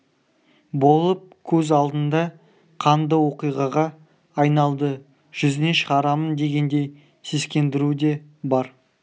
болып көз алдында қанды оқиғаға айналды жүзіне шығарамын дегендей сескендіру де бар